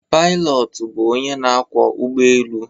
Pailọtụ bụ onye na akwọ ụgbọ elu.